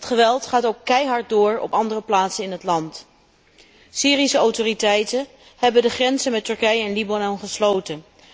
Het geweld gaat ook keihard door op andere plaatsen in het land. Syrische autoriteiten hebben de grenzen met Turkije en Libanon gesloten.